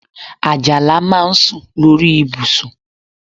Àjàlá máa ń sùn lórí ibùsùn